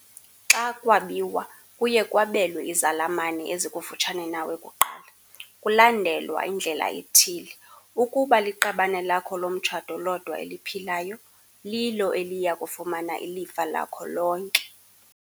Xa kwabiwa kuye kwabelwe izalamane ezikufutshane nawe kuqala, kulandelwa indlela ethile- Ukuba liqabane lakho lomtshato lodwa eliphilayo, lilo eliya kufumana ilifa lakho lonke.